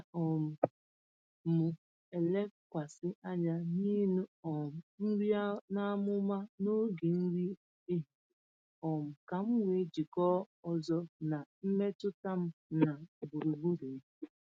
Ana um m elekwasị anya n’iṅụ um nri n’amụma n’oge nri ehihie um ka m wee jikọọ ọzọ na mmetụta m na gburugburu m.